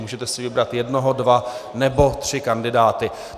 Můžete si vybrat jednoho, dva nebo tři kandidáty.